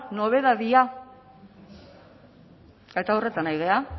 nobedadea eta horretan ari gara